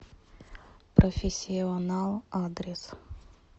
профессионал адрес